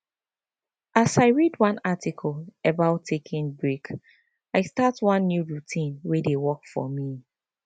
as i read one article about taking break i start one new routine wey dey work for me